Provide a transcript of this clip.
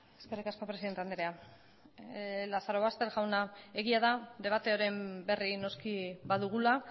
eskerrik asko presidente andrea lazarobaster jauna egia da debatearen berri noski badugula